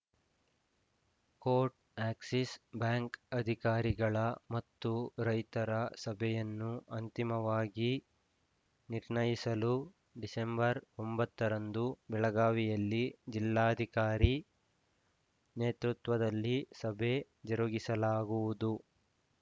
coat Axis bank ಅಧಿಕಾರಿಗಳ ಮತ್ತು ರೈತರ ಸಭೆಯನ್ನು ಅಂತಿಮವಾಗಿ ನಿರ್ಣಯಿಸಲು ಡಿಸೆಂಬರ್ ಒಂಬತ್ತು ರಂದು ಬೆಳಗಾವಿಯಲ್ಲಿ ಜಿಲ್ಲಾಧಿಕಾರಿ ನೇತೃತ್ವದಲ್ಲಿ ಸಭೆ ಜರುಗಿಸಲಾಗುವುದು